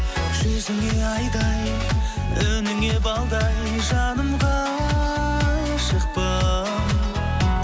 жүзіңе айдай үніңе балдай жаным ғашықпын